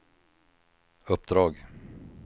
uppdrag